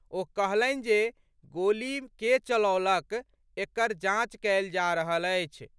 ओ कहलनि जे गोली के चलौलक, एकर जांच कयल जा रहल अछि।